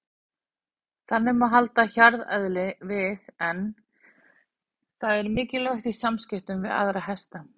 Þannig má halda hjarðeðlinu við en það er mikilvægt í samskiptum við aðra hesta.